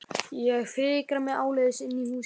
Ég fikra mig áleiðis inn í húsið.